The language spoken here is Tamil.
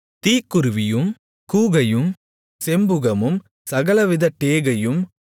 தீக்குருவியும் கூகையும் செம்புகமும் சகலவித டேகையும்